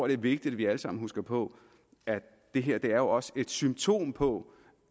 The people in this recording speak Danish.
det er vigtigt at vi alle sammen husker på at det her jo også et symptom på